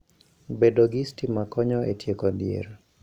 Bedo gi sitima konyo e tieko dhier.